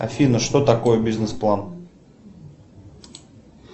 афина что такое бизнес план